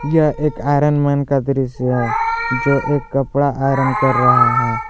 यह एक iron man का दृश्य है जो एक कपड़ा आयरन कर रहा है।